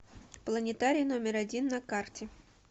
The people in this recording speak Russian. планетарий номер один на карте